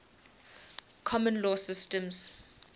common law systems